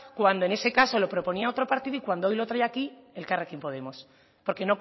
cuando en ese caso lo proponía otro partido y cuando hoy lo trae aquí elkarrekin podemos porque